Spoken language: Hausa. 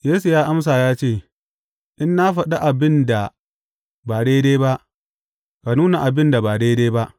Yesu ya amsa ya ce, In na faɗi abin da ba daidai ba, ka nuna abin da ba daidai ba.